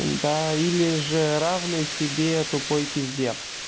да или же равную себе тупой пизде